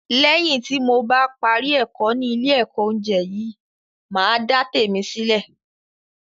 Lẹ́yìn ìgbà tí mo bá parí ẹ̀kọ́ ni ile ẹ̀kọ́ oúnjẹ yìí, màá dá tèmi sílè